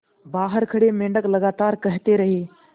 बाहर खड़े मेंढक लगातार कहते रहे